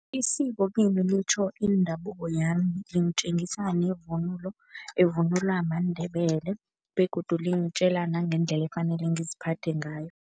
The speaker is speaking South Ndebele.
Isiko kimi litjho indabuko yami, lingitjengisa nevunulo evunulwa maNdebele begodu lingitjela nangendlela efanele ngiziphathe ngayo.